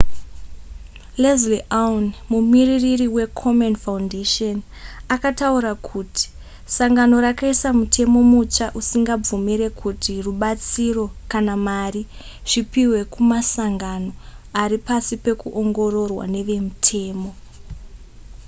leslie aun mumiririri wekomen foundation akataura kuti sangano rakaisa mutemo mutsva usingabvumire kuti rubatsiro kana mari zvipihwe kumasangano ari pasi pekuongororwa nevemutemo